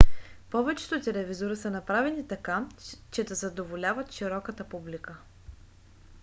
повечето телевизори са направени така че да задоволяват широката публика